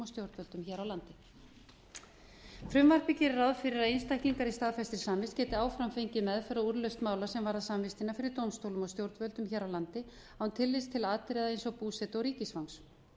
og stjórnvöldum hér á landi frumvarpið gerir ráð fyrir að einstaklingar í staðfestri samvist geti áfram fengið meðferð á úrlausn mála sem varðar samvistina fyrir dómstólum og stjórnvöldum hér á landi án tillits til atriða eins og búsetu og ríkisfangs